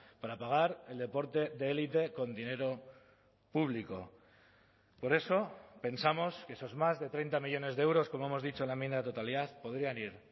para pagar el deporte de élite con dinero público por eso pensamos que esos más de treinta millónes de euros como hemos dicho en la enmienda de totalidad podrían ir